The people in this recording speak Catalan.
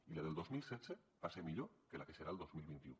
i la del dos mil setze va ser millor que la que serà el dos mil vint u